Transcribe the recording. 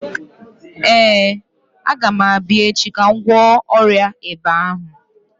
Ee, agam abịa echi ka m gwọọ ọrịa ịba ahụ.